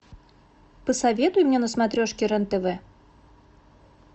посоветуй мне на смотрешке рен тв